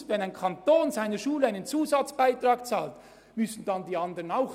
Wenn ein Kanton seiner Schule einen Zusatzbeitrag zahlt, müssen die anderen dies ebenfalls tun?